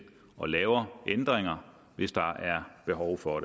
og laver ændringer hvis der er behov for